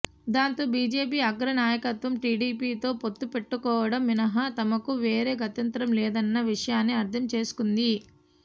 దాంతో బీజేపీ అగ్ర నాయకత్వం టీడీపీతో పొత్తు పెట్టుకోవడం మినహా తమకు వేరే గత్యంతరం లేదన్న విషయాన్ని అర్థం చేసుకుంది